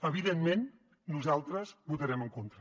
evidentment nosaltres hi votarem en contra